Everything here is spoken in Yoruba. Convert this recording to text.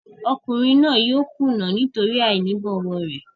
Ọkùnrin náà yóò kùnà nítorí àìní ìbọ̀wọ̀ rẹ̀.